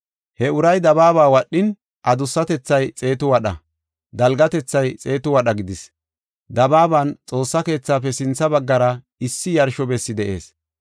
He uray dabaaba wadhin, adusatethay xeetu wadha, dalgatethay xeetu wadha gidis. Dabaaban Xoossa keethafe sintha baggara issi yarsho bessi de7ees.